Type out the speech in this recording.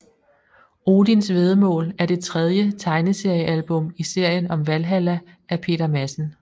Odisn væddemål er det tredje tegneseriealbum i serien om Valhalla af Peter Madsen